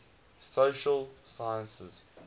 social sciences